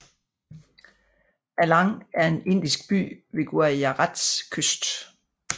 Alang er en indisk by ved Gujarats kyst